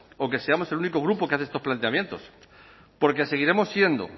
o que seamos el único grupo que hace estos planteamientos porque seguiremos siendo